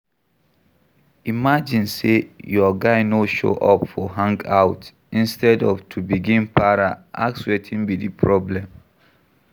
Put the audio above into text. Imagine sey your guy no show up for hangout, instead of to begin para ask wetin be di problem